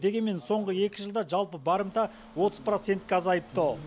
дегенмен соңғы екі жылда жалпы барымта отыз процентке азайыпты